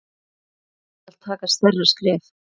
Skal taka stærra skref?